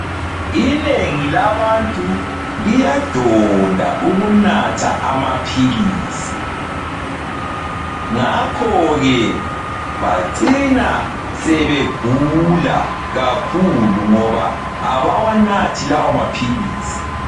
Inengi labantu liyadonda ukunatha amaphilisi, ngakho ke bacina sebegula kakhulu ngoba abawanathi lawo maphilisi